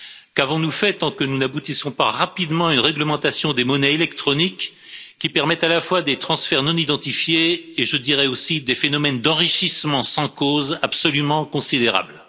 Qu'avons nous fait tant que nous n'aboutissons pas rapidement à une réglementation des monnaies électroniques qui permettent à la fois des transferts non identifiés et, je dirais aussi, des phénomènes d'enrichissement sans cause absolument considérables.